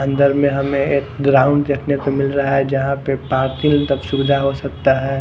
अंदर में हमें एक ग्राउंड देखने को मिल रहा हैजहां पे पार्किंग तब सुविधा हो सकता है।